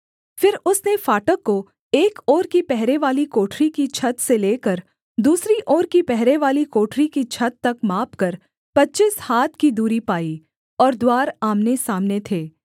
फिर उसने फाटक को एक ओर की पहरेवाली कोठरी की छत से लेकर दूसरी ओर की पहरेवाली कोठरी की छत तक मापकर पच्चीस हाथ की दूरी पाई और द्वार आमनेसामने थे